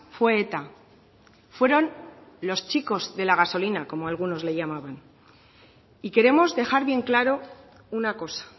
fue eta fueron los chicos de la gasolina como algunos les llamaban y queremos dejar bien claro una cosa